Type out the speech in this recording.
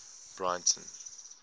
breyten